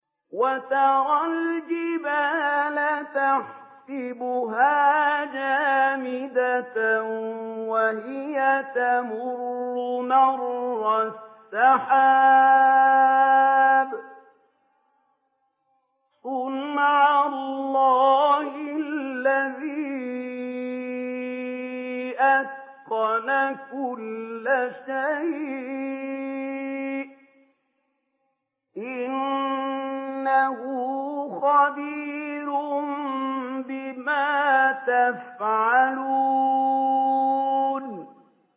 وَتَرَى الْجِبَالَ تَحْسَبُهَا جَامِدَةً وَهِيَ تَمُرُّ مَرَّ السَّحَابِ ۚ صُنْعَ اللَّهِ الَّذِي أَتْقَنَ كُلَّ شَيْءٍ ۚ إِنَّهُ خَبِيرٌ بِمَا تَفْعَلُونَ